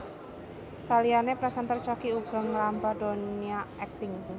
Saliyané présènter Choky uga ngrambah donya akting